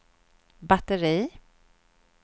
batteri